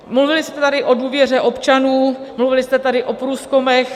Mluvili jste tady o důvěře občanů, mluvili jste tady o průzkumech.